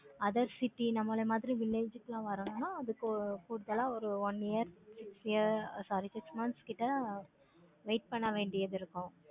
other city இந்த மாதிரி village ல வரணும்னா அதுக்கு total ஆஹ் ஒரு one year sorry six months கிட்ட wait பண்ண வேண்டியது இருக்கும்.